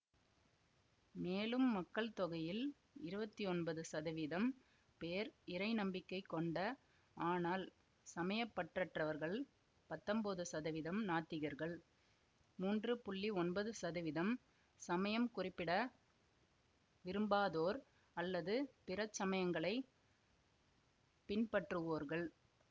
மேலும் மக்கள்தொகையில் இருவத்தி ஒன்பது சதவிதம் பேர் இறை நம்பிக்கை கொண்ட ஆனால் சமயப்பற்றற்றவர்கள் பத்தொம்போது சதவிதம் நாத்திகர்கள் மூன்று புள்ளி ஒன்பது சதவிதம் சமயம் குறிப்பிட விரும்பாதோர் அல்லது பிற சமயங்களை பின்பற்றுவோர்கள்